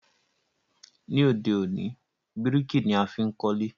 Ní òde òní, bíríkì ni a fi n kólé